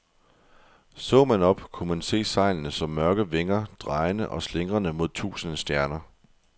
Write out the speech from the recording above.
Så man op, kunne man se sejlene som mørke vinger, drejende og slingrende mod tusinde stjerner.